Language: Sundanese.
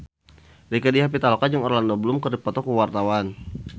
Rieke Diah Pitaloka jeung Orlando Bloom keur dipoto ku wartawan